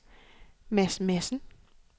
Mads Madsen